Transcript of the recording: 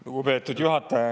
Lugupeetud juhataja!